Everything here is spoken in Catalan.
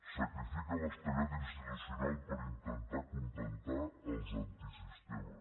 sacrifica l’estabilitat institucional per intentar acontentar els antisistema